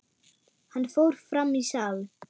Hann fór fram í sal.